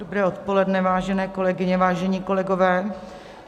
Dobré odpoledne, vážené kolegyně, vážení kolegové.